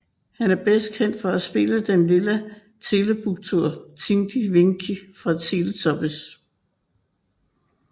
Han er bedst kendt for at spille den Lilla Teletubby Tinky Winky fra Teletubbies